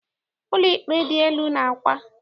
Ụlọikpe dị elu dị n'Awka.